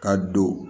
Ka don